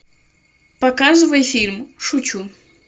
показывай фильм шучу